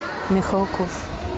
михалков